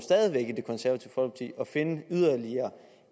at finde yderligere